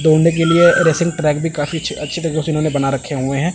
के लिए racing track भी काफी अच्छी तरीक़े से उन्होंने बना रखे हुए हैं।